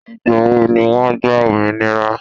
Ìgbà wo ni wọ́n gba òmìnira?